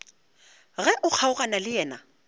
ge o kgaogana le yena